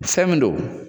Fɛn min don